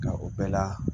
Nka o bɛɛ la